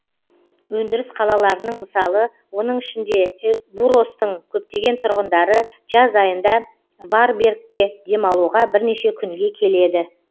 өндіріс қалаларының мысалы оның ішінде буростың көптеген тұрғындары жаз айында варбергке демалуға бірнеше күнге келеді